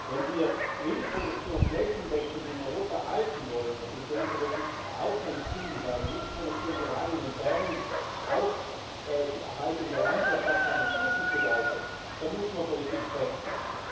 Wenn wir Milchproduktion flächendeckend in Europa halten wollen und ich denke, das ist auch ein Ziel, weil die Milchproduktion gerade in den Bergen auch die Erhaltung der Landwirtschaft an und für sich bedeutet dann muss man Politik wechseln.